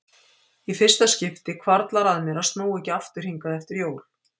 Í fyrsta skipti hvarflar að mér að snúa ekki aftur hingað eftir jól.